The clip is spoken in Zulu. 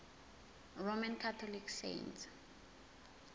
roman catholic saints